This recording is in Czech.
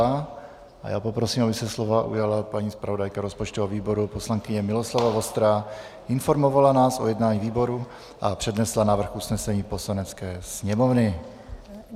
A já poprosím, aby se slova ujala paní zpravodajka rozpočtového výboru poslankyně Miloslava Vostrá, informovala nás o jednání výboru a přednesla návrh usnesení Poslanecké sněmovny.